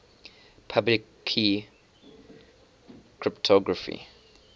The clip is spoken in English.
public key cryptography